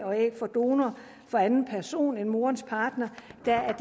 og æg fra donor fra anden person end moderens partner